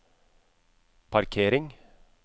parkering